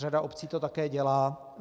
Řada obcí to také dělá.